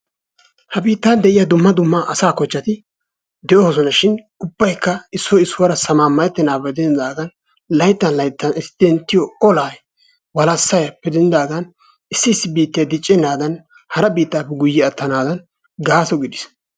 ha biittan de'iyaa dumma dumma asa kochchati de'oosonashin ubbaykka issoy issuwara sammamayettenagappe denddidaagan layttan layttan eti denttiyo ola walassayappe denddidaaga issi issi biittay diccenaaadan hara biittaappe guyye attanadan gaaso gidiis.